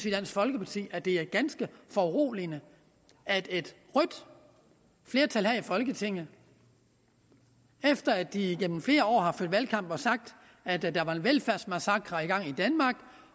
i dansk folkeparti at det er ganske foruroligende at et rødt flertal her i folketinget efter at de igennem flere år har ført valgkamp og sagt at der var en velfærdsmassakre i gang i danmark